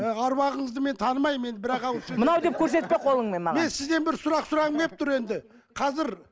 ы аруағыңызды мен танымаймын енді бірақ ауыз сөз мынау деп көрсетпе қолыңмен маған мен сізден бір сұрақ сұрағым келіп тұр енді қазір